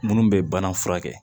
Minnu bɛ bana furakɛ